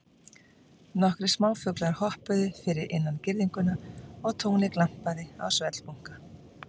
Nokkrir smáfuglar hoppuðu fyrir innan girðinguna og tunglið glampaði á svellbunka.